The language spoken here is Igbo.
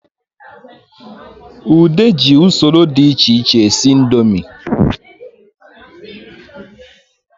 Ude ji usoro dị echeche esi ndomi